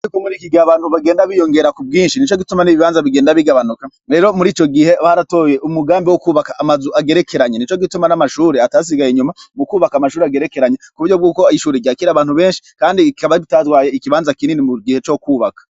Ikumuri ikigie abantu bagenda biyongera ku bwinshi ni co gituma n'ibibanza bigenda bigabanuka rero muri ico gihe baratoye umugambi wo kwubaka amazu agerekeranya ni co gituma n'amashuri atasigaye inyuma mu kwubaka amashuri agerekeranya ku buryo bw'uko ayishuri iryakira abantu benshi, kandi ikaba bitadwaye ikibanza kinini mu gihe co kwubaka.